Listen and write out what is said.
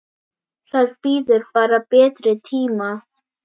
Það bíður bara betri tíma.